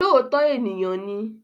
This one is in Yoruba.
Olóòótọ́ ènìyàn ni